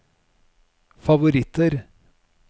favoritter